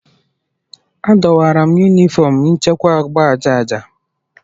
Adọwara Yunifọm nchekwa agba aja aja.